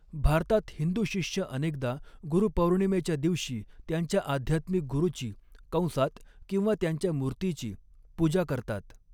भारतात, हिंदू शिष्य अनेकदा गुरु पौर्णिमेच्या दिवशी त्यांच्या आध्यात्मिक गुरुची कंसात किंवा त्यांच्या मूर्तीची पूजा करतात.